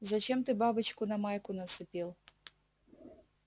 зачем ты бабочку на майку нацепил